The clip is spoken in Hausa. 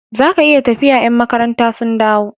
Zaka iya tafiya ya'n makaranta sun dawo